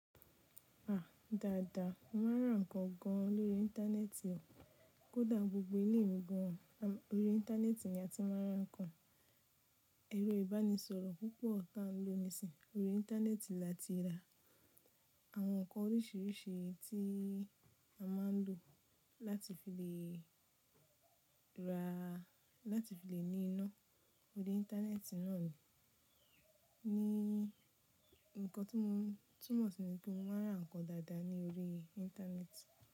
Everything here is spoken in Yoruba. A! Dáadáa mo máa ń ra nǹkan gan lórí íńtánẹ́ẹ̀tì o. Kò dá gbogbo ilé nìkan, orí íńtánẹ́ẹ̀tì ni a ti máa ń ra nǹkan. Ẹ̀rọ ìbánisọ̀rọ̀ púpọ̀ ta lónìí sìn, orí íńtánẹ́ẹ̀tì la ti rà. Àwọn nǹkan oríṣiríṣi tí a máa ń lò láti fi lè rà, láti fi lè ní iná orí íńtánẹ́ẹ̀tì náà ni. Ní, nǹkan tí mo túmọ̀ sí pé mo máa ń ra nǹkan dáadáa ní orí íńtánẹ́ẹ̀tì.